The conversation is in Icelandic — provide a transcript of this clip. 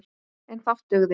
En fátt dugði.